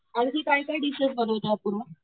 आणखी काय काय डीश बनवता अपूर्वा.